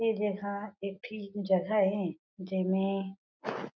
ए जगह एक ठी जगह ए जेमे--